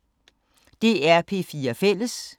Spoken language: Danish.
DR P4 Fælles